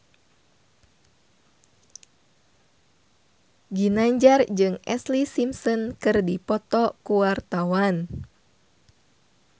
Ginanjar jeung Ashlee Simpson keur dipoto ku wartawan